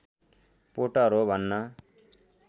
Potter हो भन्न